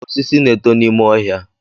Osisi na-eto n'ime ọhịa.